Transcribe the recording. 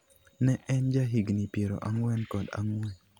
Ne en jahigini piero ang'wen kod ang'wen.